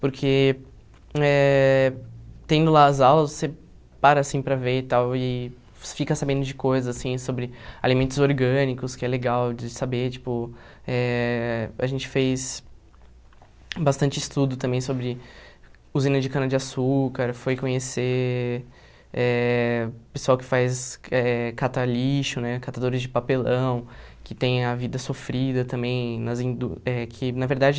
porque eh tendo lá as aulas, você para assim para ver e tal, e fica sabendo de coisas assim sobre alimentos orgânicos, que é legal de saber, tipo, eh a gente fez bastante estudo também sobre usina de cana-de-açúcar, foi conhecer eh pessoal que faz eh cata lixo, né, catadores de papelão, que tem a vida sofrida também, nas indú eh que na verdade...